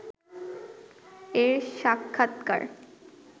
এর সাক্ষাৎকার